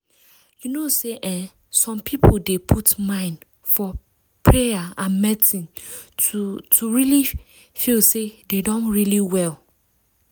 you know say eeh some people dey put mind for payer and medicine to to really feel say dem don really well.